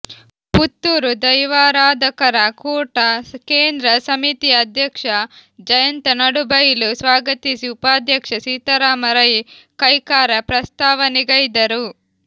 ಪುತ್ತೂರು ದೈವಾರಾಧಕರ ಕೂಟ ಕೇಂದ್ರ ಸಮಿತಿಯ ಅಧ್ಯಕ್ಷ ಜಯಂತ ನಡುಬೈಲು ಸ್ವಾಗತಿಸಿ ಉಪಾಧ್ಯಕ್ಷ ಸೀತಾರಾಮ ರೈ ಕೈಕಾರ ಪ್ರಸ್ತಾವನೆಗೈದರು